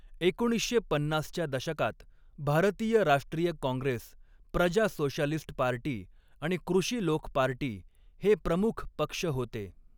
एकोणीसशे पन्नासच्या दशकात भारतीय राष्ट्रीय काँग्रेस, प्रजा सोशालिस्ट पार्टी आणि कृषी लोक पार्टी हे प्रमुख पक्ष होते.